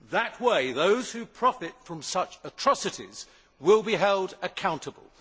That way, those who profit from such atrocities will be held accountable.